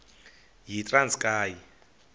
yitranskayi